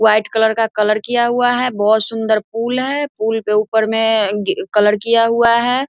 White colour का colour किया हुआ बहुत सुंदर पुल है पुल मे ऊपर मे आ उम कलर किया हुआ है।